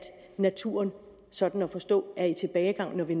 naturen sådan at forstå er i tilbagegang når vi